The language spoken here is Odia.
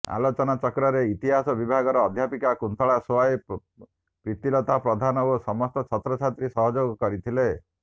ଆଲୋଚନା ଚକ୍ରରେ ଇତିହାସ ବିଭାଗର ଅଧ୍ୟାପିକା କୁନ୍ତଳା ସୋଏ ପ୍ରୀତିଲତା ପ୍ରଧାନ ଓ ସମସ୍ତ ଛାତ୍ରଛାତ୍ରୀ ସହଯୋଗ କରିଥିଲେ